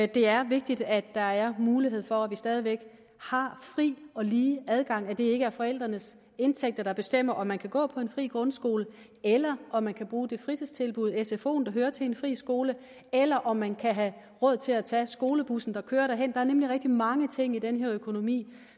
det er vigtigt at der er mulighed for at vi stadig væk har fri og lige adgang og at det ikke er forældrenes indtægter der bestemmer om man kan gå på en fri grundskole eller om man kan bruge det fritidstilbud sfoen der hører til en fri skole eller om man kan have råd til at tage skolebussen der kører derhen der er nemlig rigtig mange ting i den her økonomi